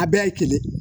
A bɛɛ ye kelen